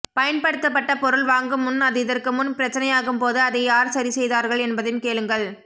பயன்படுத்தப்பட்ட பொருள் வாங்கும் முன் அது இதற்கு முன் பிரச்சனையாகும் போது அதை யார் சரி செய்தார்கள் என்பதையும் கேளுங்கள்